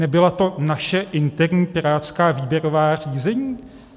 Nebyla to naše interní pirátská výběrová řízení?